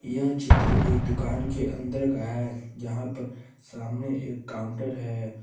यह चित्र एक दुकान के अंदर का है यहां पर सामने एक काउंटर है।